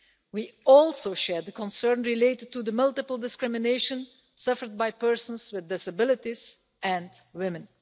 We also share the concern over the multiple discrimination suffered by persons with disabilities and by women.